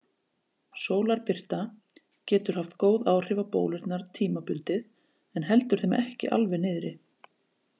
Sólarbirta getur haft góð áhrif á bólurnar tímabundið en heldur þeim ekki alveg niðri.